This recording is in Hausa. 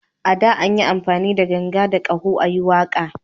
A da, an yi amfani da ganga da ƙaho a yi waƙa